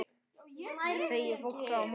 segir fólk þá á móti.